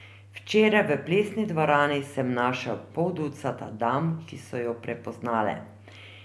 Včeraj v plesni dvorani sem našel pol ducata dam, ki so jo prepoznale.